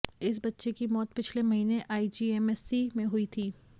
इस बच्चे की मौत पिछले महीने आईजीएमसी में हुई थी